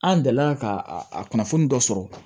An delila ka a kunnafoni dɔ sɔrɔ